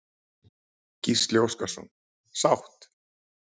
Gísli Óskarsson: Sátt?